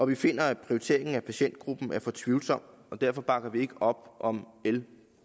vi finder at prioriteringen af patientgruppen er for tvivlsom derfor bakker vi ikke op om l